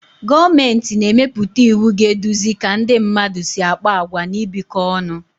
Gọọmenti na-emepụta iwu ga-eduzi ka ndị mmadụ si akpa àgwà na ibikọ ọnụ